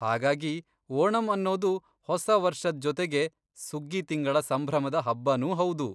ಹಾಗಾಗಿ, ಓಣಂ ಅನ್ನೋದು ಹೊಸ ವರ್ಷದ್ ಜೊತೆಗೆ ಸುಗ್ಗಿ ತಿಂಗಳ ಸಂಭ್ರಮದ ಹಬ್ಬನೂ ಹೌದು.